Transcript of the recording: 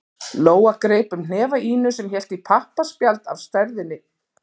Lóa greip um hnefa Ínu sem hélt í pappaspjald af stærðinni